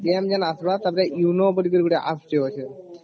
ଯେବେ ଆସିବା ତ ପରେ UNO ବୋଲି ଗୋଟେ apps ଟେ ଅଛି